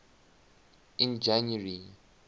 in january